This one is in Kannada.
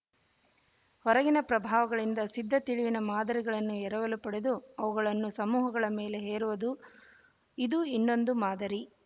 ಹೊರಗಿನ ಪ್ರಭಾವಗಳಿಂದ ಸಿದ್ಧ ತಿಳಿವಿನ ಮಾದರಿಗಳನ್ನು ಎರವಲು ಪಡೆದು ಅವುಗಳನ್ನು ಸಮೂಹಗಳ ಮೇಲೆ ಹೇರುವುದು ಇದು ಇನ್ನೊಂದು ಮಾದರಿ